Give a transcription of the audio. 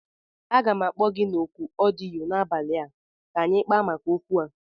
Aga m akpo gi na oku odiyo n'abali a ka anyi kpaa maka okwu a